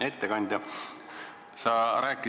Hea ettekandja!